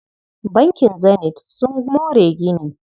Bankin Zenith sun more gini.